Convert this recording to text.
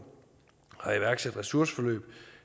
har iværksat ressourceforløb